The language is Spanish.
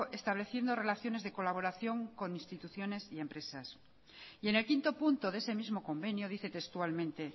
estableciendo relaciones de colaboración con instituciones y empresas y en el quinto punto de ese mismo convenio dice textualmente